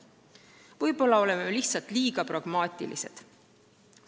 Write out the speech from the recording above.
Või siis oleme lihtsalt liiga pragmaatilised.